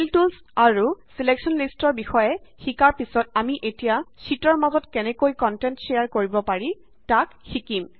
feel tools আৰু selection lists ৰ বিষয়ে শিকাৰ পিছত আমি এতিয়া শ্যিটৰ মাজত কেনেকৈ কন্টেন্ট শ্বেয়াৰ কৰিব পাৰি তাক শিকিম